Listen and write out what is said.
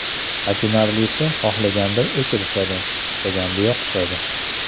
Achinarlisi xohlaganda o‘chirishadi, istaganda yoqishadi.